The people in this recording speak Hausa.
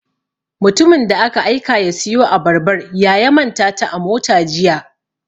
Mutumin da aka aika ya siyo Abarbar ya ya manta ta a mota Jiya.